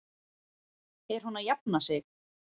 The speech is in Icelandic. Er hún að jafna sig?